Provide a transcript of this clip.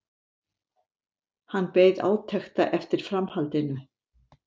Hann beið átekta eftir framhaldinu.